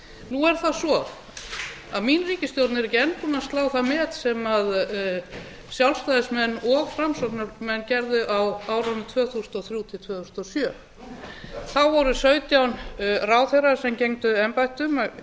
nú er það svo að mín ríkisstjórn er ekki enn búin að slá það met sem sjálfstæðismenn og framsóknarmenn gerðu á árunum tvö þúsund og þrjú til tvö þúsund og sjö nú þá voru sautján ráðherrar sem gegndu embættum